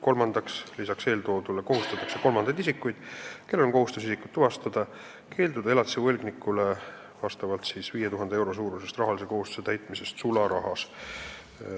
Lisaks eeltoodule kohustatakse kolmandaid isikuid, kellel on kohustus isikut tuvastada, keelduma elatise võlgnikule 5000 euro suurusest rahalise kohustuse täitmisest sularahas.